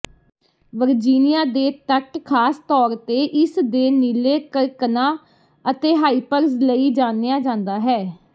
Virginia ਦੇ ਤੱਟ ਖਾਸ ਤੌਰ ਤੇ ਇਸਦੇ ਨੀਲੇ ਕਰਕਣਾਂ ਅਤੇ ਹਾਇਪਰਜ਼ ਲਈ ਜਾਣਿਆ ਜਾਂਦਾ ਹੈ